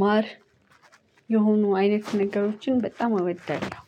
ማር የሆኑ አይነት ነገሮችን በጣም እወዳለው